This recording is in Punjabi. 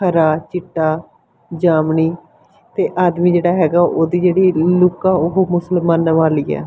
ਹਰਾ ਚਿੱਟਾ ਜਾਮਣੀ ਤੇ ਆਦਮੀ ਜਿਹੜਾ ਹੈਗਾ ਉਹਦੀ ਜਿਹੜੀ ਲੁਕ ਆ ਉਹ ਮੁਸਲਮਾਨਾਂ ਵਾਲੀ ਆ।